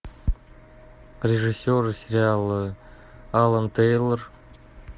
режиссер сериала алан тейлор